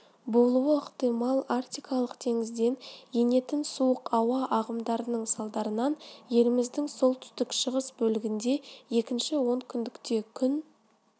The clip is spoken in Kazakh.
болуы ықтимал арктикалық теңізден енетін суық ауа ағымдарының салдарынан еліміздің солтүстік-шығыс бөлігінде екінші он күндікте күн